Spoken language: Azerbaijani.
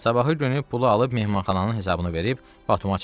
Sabahı günü pulu alıb mehmanxananın hesabını verib Batuma çatdım.